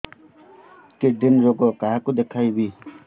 kidney ରୋଗ କାହାକୁ ଦେଖେଇବି